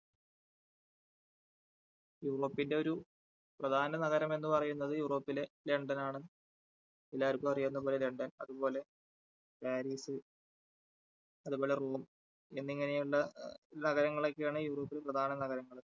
യൂറോപ്പിന്റെ ഒരു പ്രധാന നഗരം എന്ന് പറയുന്നത് യൂറോപ്പിലെ ലണ്ടൻ ആണ് എല്ലാവർക്കും അറിയാവുന്നതുപോലെ ലണ്ടൻ അതുപോലെ പാരിസ് അതുപോലെ റോം എന്നിങ്ങനെയുള്ള നഗരങ്ങളൊക്കെയാണ് യൂറോപ്പിലെ പ്രധാന നഗരങ്ങള്.